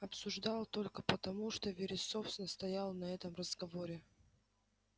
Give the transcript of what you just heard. обсуждал только потому что вересов настоял на этом разговоре